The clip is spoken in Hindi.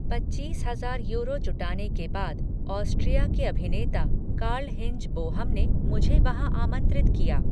पच्चीस हजार यूरो जुटाने के बाद ऑस्ट्रिया के अभिनेता कार्लहिंज बोहम ने मुझे वहां आमंत्रित किया।